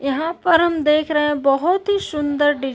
यहाँ पर हम देख रहे हैं बहोत ही सुंदर डिज़ --